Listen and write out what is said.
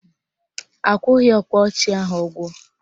Akwụghị ọkpa ọchị ahụ ụgwọ